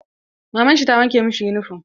Maman shi ta wanke masa yunifom.